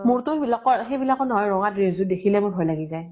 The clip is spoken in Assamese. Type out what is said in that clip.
মোৰ তো সেইবিলাকৰ সেইবিলাকৰ নহয় ৰঙা dress যোৰ দেখিলে মোৰ ভয় লাগি যায়।